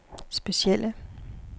specielle